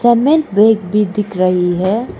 तीमेंट bag भी दिख रही है।